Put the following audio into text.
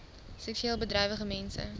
seksueel bedrywige mense